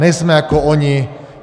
Nejsme jako oni.